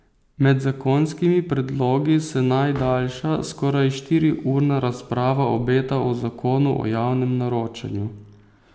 Med zakonskimi predlogi se najdaljša, skoraj štiriurna razprava obeta o zakonu o javnem naročanju.